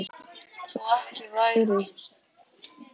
Þó ekki væri.